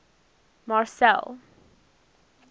marcel